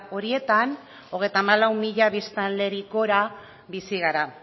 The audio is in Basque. horietan hogeita hamalau mila biztanlerik gora bizi gara